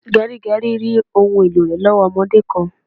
Gerigeri rí ohùn èlò rẹ lowo ọmọdé kan